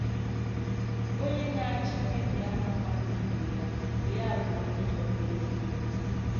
Onye nà-àchọ́ ìmébì àhà mmadù ìbè ya bụ̀ ya bụ̀ “onyè jọ̀gbùrù onwè ya.”